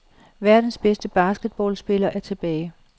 Verdens bedste basketballspiller er tilbage.